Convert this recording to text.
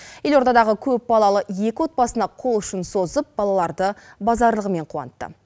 елордадағы көпбалалы екі отбасына қол ұшын созып балаларды базарлығымен қуантты